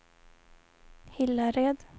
Hillared